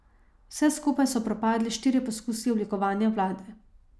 Vse skupaj so propadli štirje poskusi oblikovanja vlade.